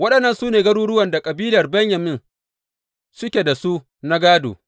Waɗannan su ne garuruwan da kabilar Benyamin suke da su na gādo.